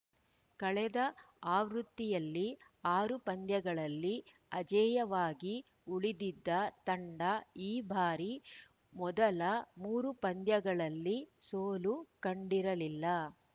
ಕಳೆದ ಆವೃತ್ತಿಯಲ್ಲಿ ಆರು ಪಂದ್ಯಗಳಲ್ಲಿ ಅಜೇಯವಾಗಿ ಉಳಿದಿದ್ದ ತಂಡ ಈ ಬಾರಿ ಮೊದಲ ಮೂರು ಪಂದ್ಯಗಳಲ್ಲಿ ಸೋಲು ಕಂಡಿರಲಿಲ್ಲ